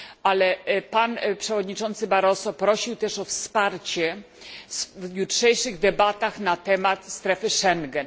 Ale pan przewodniczący Barroso prosił też o wsparcie w jutrzejszych debatach na temat strefy Schengen.